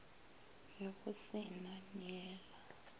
ge go se na neela